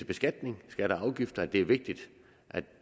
beskatning skatter og afgifter at det er vigtigt